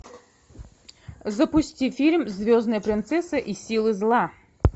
запусти фильм звездная принцесса и силы зла